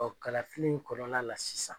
kalafili in kɔnɔla la sisan